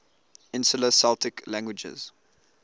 insular celtic languages